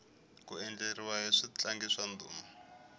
ku endzeriwa hi switlangi swa ndhuma